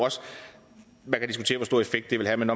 stor effekt det vil have men